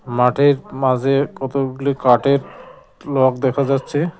মাঠের মাজে কতগুলি কাঠের লগ দেখা যাচ্ছে।